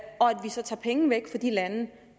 vi så tager penge væk fra de lande